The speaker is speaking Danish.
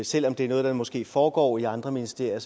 selv om det er noget der måske foregår i andre ministerier